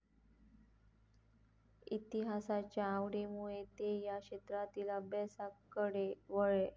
इतिहासाच्या आवडीमुळे ते या क्षेत्रातील अभ्यासाकडे वळले.